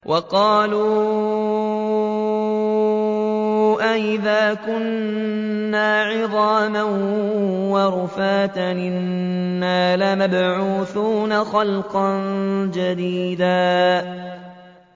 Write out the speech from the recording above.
وَقَالُوا أَإِذَا كُنَّا عِظَامًا وَرُفَاتًا أَإِنَّا لَمَبْعُوثُونَ خَلْقًا جَدِيدًا